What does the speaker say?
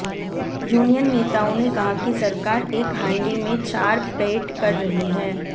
union नेताओं ने कहा कि सरकार एक हांडी में चार पेट कर रही है